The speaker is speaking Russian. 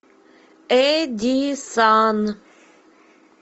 эдисон